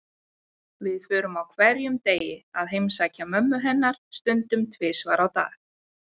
Við förum á hverjum degi að heimsækja mömmu hennar, stundum tvisvar á dag.